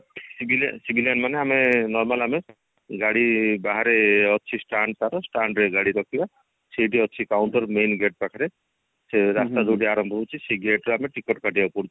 civil civilian ମାନେ normal ଆମେ ଗାଡି ବାହାରେ ଅଛି stand ତାର stand ରେ ଗାଡି ରଖିବା ସେଇଠି ଅଛି counter main gate ପାଖରେ ସେ ରାସ୍ତା ଯୋଉଠି ଆରମ୍ଭ ହଉଛି ସେ gate ରେ ଆମେ ticket କାଟିବାକୁ ପଡୁଛି